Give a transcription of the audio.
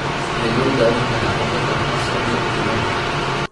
Sidee loo daweyn karaa cilada Parsonage Turnerka?